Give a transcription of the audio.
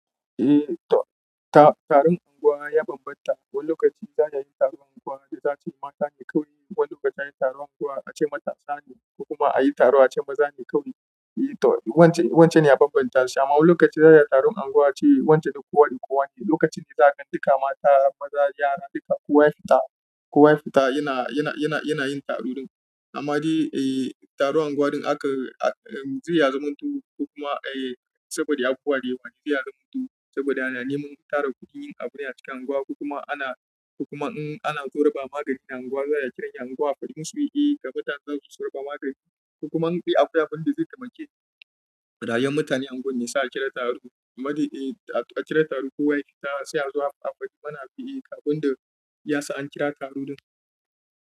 Ehh toh, tare ta ma ya banban ta wani lokaci akan yi taro ace mata ne kawaii, wani lokaci ayi taro ace matasa ne kokuma ayi taro ace maza ne kawaii. Eh, to wance, wance ne ya bambanta shi. Amma wani lokaci za a yi taron unguwa ce wance na kowa da kowa ne. Lokacin fita duka mata, maza ma kowa ya fita yana yin taro a gurin amma dai, eh, taron unguwan ɗin akan, akan, zai ya zamanto ko kuma, eh, saboda abubuwa dayawa da zai ya mutu saboda ana neman tara kuɗi yin abune a cikin unguwa, kuma ana, kuma in ana so raba magani a unguwa za a kira unguwa faɗi musu, "Eh, gabatar za su zo raba magani." Kuma in dai akwai abun da zai ya taimake. Rayayyen mutanen unguwar ne sa a kira taro. Amma dai, eh, a kira taro kowa ya fita sai a zo a faɗi mana biye abun da ya sa an kira taro ɗin.